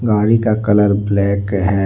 गाड़ी का colour black है।